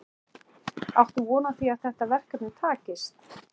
Áttu von á því að þetta verkefni takist?